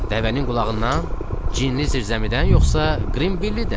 Dəvənin qulağından, cinli zirzəmidən yoxsa Qrinbillidən?